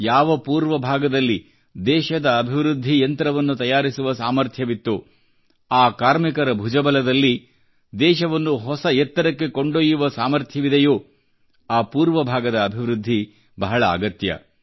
ಯಾವ ಪೂರ್ವ ಭಾಗದಲ್ಲಿ ದೇಶದ ಅಭಿವೃದ್ಧಿ ಯಂತ್ರವನ್ನು ತಯಾರಿಸುವ ಸಾಮಥ್ರ್ಯವಿತ್ತೋ ಆ ಕಾರ್ಮಿಕರ ಭುಜಬಲದಲ್ಲಿ ದೇಶವನ್ನು ಹೊಸ ಎತ್ತರಕ್ಕೆ ಕೊಂಡೊಯ್ಯುವ ಸಾಮಥ್ರ್ಯವಿದೆಯೋ ಆ ಪೂರ್ವ ಭಾಗದ ಅಭಿವೃದ್ಧಿ ಬಹಳ ಅಗತ್ಯ